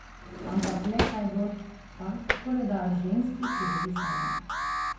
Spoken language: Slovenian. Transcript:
Ampak le kaj bo tak koledar ženski, ki živi sama?